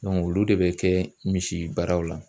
olu de bɛ kɛ misi baaraw la.